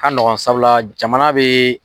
Ka nɔgɔn sabula jamana be